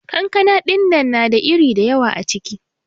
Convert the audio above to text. kankana dinnan na da iri dayawa acikin.